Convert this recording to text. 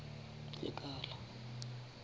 lekala